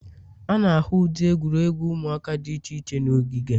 A na-ahụ ụdị egwuregwu ụmụaka dị iche iche n'ogige.